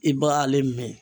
I b'a ale min.